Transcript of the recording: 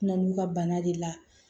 Na n'u ka bana de la